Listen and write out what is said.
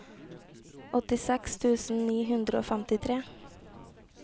åttiseks tusen ni hundre og femtitre